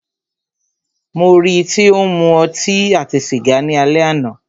Mó rí í tí o ń mú ọtí àti sìgá ni alẹ́ àná.